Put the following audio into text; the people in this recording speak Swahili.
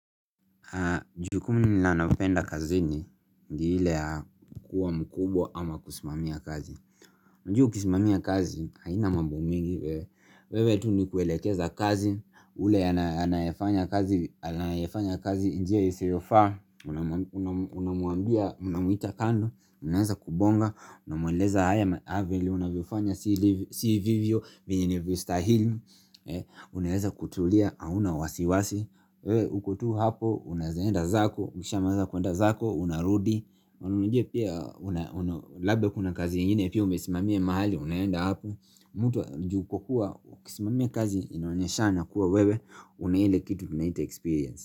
Jukumu ninano penda kazini ndi ile yakuwa mkubwa ama kusimamia kazi Njuhu kusimamia kazi haina mambo mingi wewe tu ni kuelekeza kazi ule anayefanya kazi njia iseyofaa Unamuambia unamuita kando Unaweza kubonga Unamweleza haya avili unavyofanya si vivyo vinyini vista hili Unaweza kutulia hauna wasiwasi Ukotu hapo unazaenda zako Ukishama za kuenda zako Unarudi Labda kuna kazi ingine Pia umesimamia mahali unayenda hapo Mutu njuko kuwa ukisimamia kazi inaonyesha na kuwa wewe Unaile kitu tunahita experience.